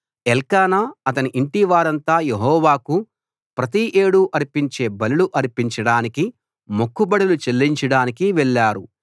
ఎల్కానా అతని ఇంటి వారంతా యెహోవాకు ప్రతి ఏడూ అర్పించే బలులు అర్పించడానికి మొక్కుబడులు చెల్లించడానికి వెళ్లారు